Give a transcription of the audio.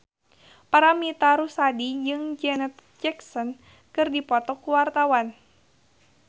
Paramitha Rusady jeung Janet Jackson keur dipoto ku wartawan